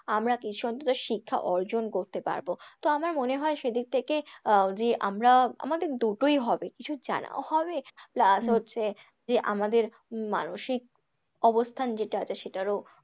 আমরা কিছু অন্তত শিক্ষা অর্জন করতে পারব, তো আমার মনে হয় সেদিক থেকে আহ যে আমরা আমদের দুটোই হবে, কিছু জানাও হবে plus হচ্ছে যে আমাদের মানসিক অবস্থান যেটা আছে সেটারও,